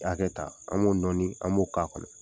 hakɛ ta an b'o nɔɔni an b'o k'a kɔnɔ.